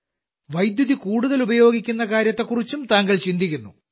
വൈദ്യുതി കൂടുതൽ ഉപയോഗിക്കുന്ന കാര്യത്തെക്കുറിച്ചും താങ്കൾ ചിന്തിക്കുന്നു